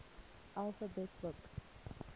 alphabet books